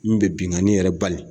Min bɛ binkani yɛrɛ bali.